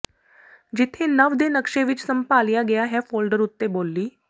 ਜਿੱਥੇ ਨਵ ਦੇ ਨਕਸ਼ੇ ਵਿੱਚ ਸੰਭਾਲਿਆ ਗਿਆ ਹੈ ਫੋਲਡਰ ਉੱਤੇ ਬੋਲੀ